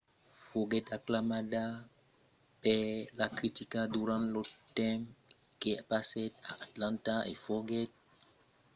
foguèt aclamada per la critica durant lo temps que passèt a atlanta e foguèt reconeguda per son educacion urbana innovanta